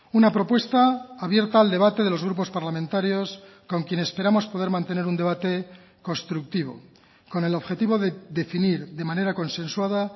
una propuesta abierta al debate de los grupos parlamentarios con quien esperamos poder mantener un debate constructivo con el objetivo de definir de manera consensuada